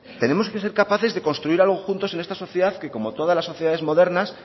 tenemos que ser capaces de construir algo juntos en esta sociedad que como todas las sociedades modernas